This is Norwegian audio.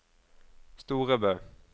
Storebø